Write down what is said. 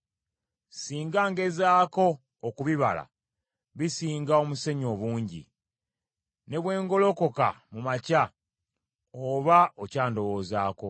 Singa ngezaako okubibala bisinga omusenyu obungi. Ne bwe ngolokoka mu makya oba okyandowoozaako.